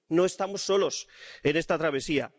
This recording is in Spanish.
No estamos solos en esta travesía.